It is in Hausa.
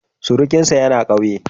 Surukinsa yana ƙauye.